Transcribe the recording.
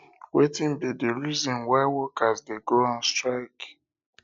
wetin be be di reason why workers dey go on strike